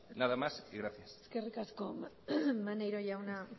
nada más y gracias eskerrik asko maneiro jauna